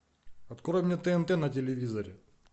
открой мне тнт на телевизоре